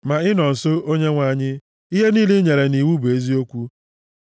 Ma ị nọ nso, Onyenwe anyị; ihe niile i nyere nʼiwu bụ eziokwu.